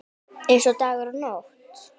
Eins og dagur og nótt.